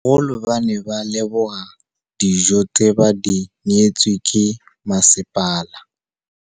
Bagolo ba ne ba leboga dijô tse ba do neêtswe ke masepala.